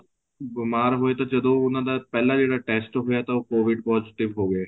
ਬੀਮਾਰ ਹੋਏ ਤਾਂ ਜਦੋਂ ਉਹਨਾ ਦਾ ਪਹਿਲਾਂ ਜਿਹੜਾ test ਹੋਇਆ ਤਾਂ ਉਹ COVID positive ਹੋ ਗਏ